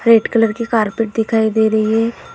Red colour की carpet दिखाई दे रही है।